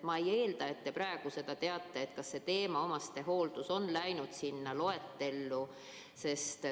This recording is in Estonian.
Ma ei eelda, et te praegu seda teate, kas see teema, omastehooldajad, on läinud sinna loetellu.